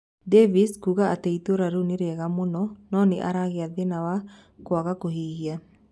Davies kuuga ati itura riu ni riega muno no ni aragia thina wa kuaga kuhihia